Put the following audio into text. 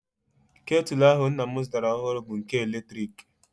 Ketụl ahụ nna m zụtara ọhụrụ bụ nke eletrik